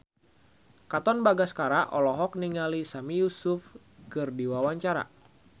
Katon Bagaskara olohok ningali Sami Yusuf keur diwawancara